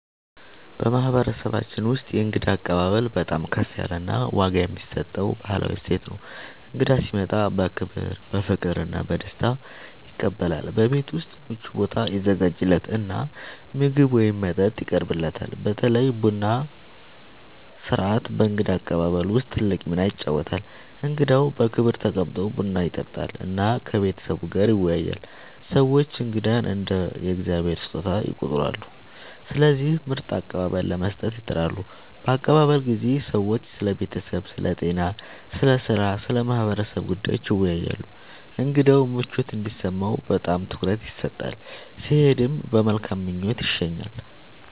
በማህበረሰባችን ውስጥ የእንግዳ አቀባበል በጣም ከፍ ያለ ዋጋ የሚሰጠው ባህላዊ እሴት ነው። እንግዳ ሲመጣ በክብር፣ በፍቅር እና በደስታ ይቀበላል፤ በቤት ውስጥ ምቹ ቦታ ይዘጋጃለት እና ምግብ ወይም መጠጥ ይቀርብለታል። በተለይ ቡና ሥርዓት በእንግዳ አቀባበል ውስጥ ትልቅ ሚና ይጫወታል፣ እንግዳው በክብር ተቀምጦ ቡና ይጠጣል እና ከቤተሰቡ ጋር ይወያያል። ሰዎች እንግዳን እንደ “የእግዚአብሔር ስጦታ” ይቆጥራሉ፣ ስለዚህ ምርጥ አቀባበል ለመስጠት ይጥራሉ። በአቀባበል ጊዜ ሰዎች ስለ ቤተሰብ፣ ስለ ጤና፣ ስለ ሥራ እና ስለ ማህበረሰቡ ጉዳዮች ይወያያሉ። እንግዳው ምቾት እንዲሰማው በጣም ትኩረት ይሰጣል፣ ሲሄድም በመልካም ምኞት ይሸኛል።